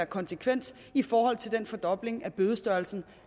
konsekvens i forhold til den fordobling af bødestørrelsen